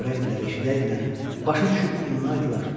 Görəydilər, eşidəydilər, başa düşüb inanaydılar.